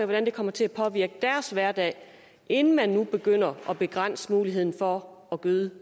det kommer til at påvirke deres hverdag inden man begynder at begrænse muligheden for at gøde